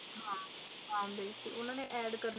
ਹਨ ਬਿਲਕੁਲ